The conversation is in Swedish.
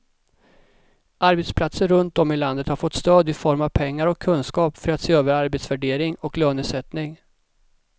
Arbetsplatser runt om i landet har fått stöd i form av pengar och kunskap för att se över arbetsvärdering och lönesättning.